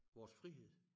Vores frihed